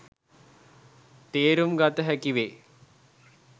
තේරුම් ගත හැකි වේ.